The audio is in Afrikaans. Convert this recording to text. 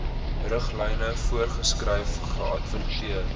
riglyne voorgeskryf geadverteer